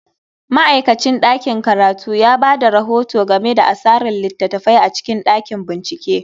Ma'aikacin ɗakin karatu ya ba da rahoto game da asarar littattafai a cikin ɗakin binciken.